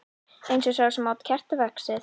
Eins og sá sem át kertavaxið.